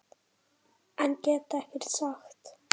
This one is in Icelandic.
En get ekkert sagt.